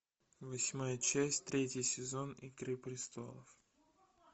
восьмая часть третий сезон игры престолов